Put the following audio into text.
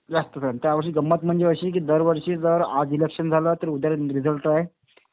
जास्तच. तर ह्यावर्षी गंमत म्हणजे अशी की दरवर्षी जर आज इलेक्शन झालं तर उद्याला रिझल्ट हाय.